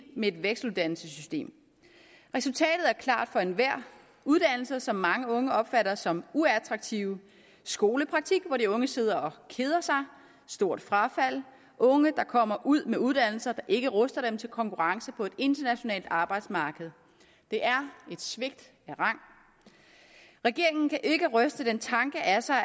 med et vekseluddannelsessystem resultatet er klart for enhver uddannelser som mange unge opfatter som uattraktive skolepraktik hvor de unge sidder og keder sig stort frafald unge der kommer ud med uddannelser ikke ruster dem til konkurrence på et internationalt arbejdsmarked det er et svigt af rang regeringen kan ikke ryste den tanke af sig